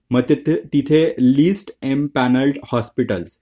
मग तिथे list empanel hospital